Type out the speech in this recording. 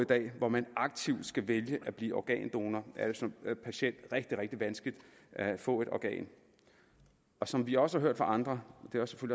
dag hvor man aktivt skal vælge at blive organdonor er det som patient rigtig rigtig vanskeligt at få et organ som vi også har hørt fra andre